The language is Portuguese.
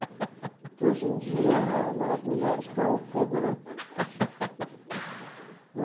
Porque hoje em dia as mulheres estão fogo, né?